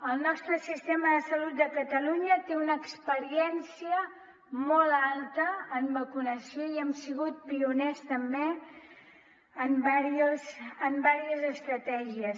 el nostre sistema de salut de catalunya té una experiència molt alta en vacunació i hem sigut pioners també en diverses estratègies